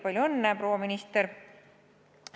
Palju õnne, proua minister!